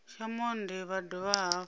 tsha monde vha dovha hafhu